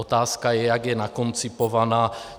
Otázka je, jak je nakoncipovaná.